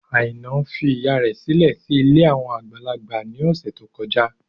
Àìná fi ìyá rẹ̀ sílẹ̀ sí ilé àwọn àgbàlagbà ní ọ̀sẹ̀ tó kọjá.